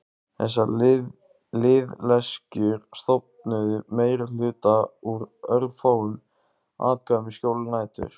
Þessar liðleskjur stofnuðu meirihluta úr örfáum atkvæðum í skjóli nætur.